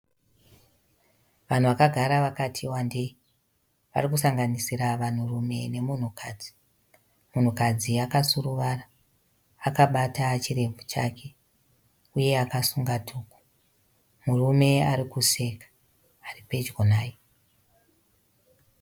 Vanhu vakagara vakati wandei. Varikusanganisira vanhurume nemunhukadzi. Munhukadzi akasuruvara, akabata chirebvu chake, uye akasunga dhuku. Murume arikuseka, aripedyo naye.